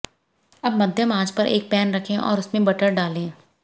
अब मध्यम आंच पर एक पैन रखें और उसमें बटर डालें